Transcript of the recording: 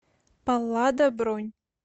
паллада бронь